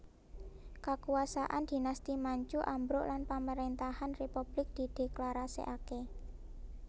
Kakuwasaan Dhinasti Manchu ambruk lan pamarentahan republik didheklarasikake